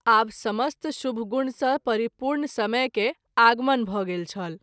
आब समस्त शुभ गुण सँ परिपूर्ण समय के आगमन भ’ गेल छल।